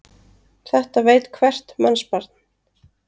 Þetta veit hvert mannsbarn.